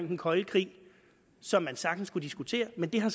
den kolde krig som man sagtens kunne diskutere men det har